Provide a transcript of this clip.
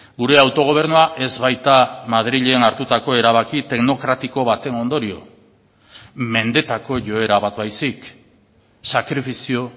gure autogobernua ez baita madrilen hartutako erabaki teknokratiko baten ondorio mendetako joera bat baizik sakrifizio